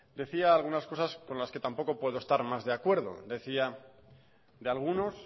decía algunas cosas con las que tampoco puedo estar más de acuerdo decía de algunos